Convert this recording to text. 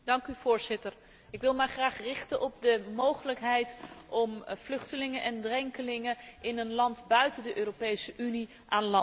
Ik wil het graag hebben over de mogelijkheid om vluchtelingen en drenkelingen in een land buiten de Europese Unie aan land te brengen.